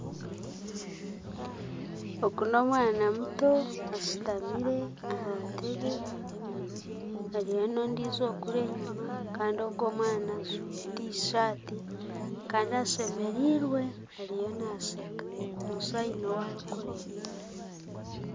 Ogu n'omwaana muto ashutamire aha ntebbe hariyo n'ondijo kuri enyima kandi ogu omwaana ajwaire tishaati kandi ashemerirwe ariyo nasheeka noshusha haine owarikureeba.